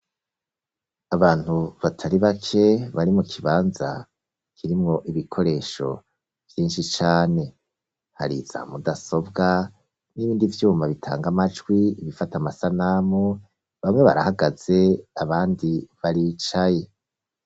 Abantu batari bake bari mu kibanza kirimwo ibikoresho vyinshi cane. Hari za mudasobwa n'ibindi vyuma bitanga amajwi, ibifata amasanamu, bamwe barahagaze, abandi baricaye.